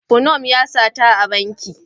Funom ya sata a banki.